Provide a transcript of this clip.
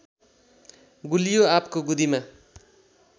गुलियो आँपको गुदीमा